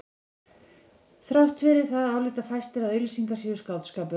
Þrátt fyrir það álíta fæstir að auglýsingar séu skáldskapur.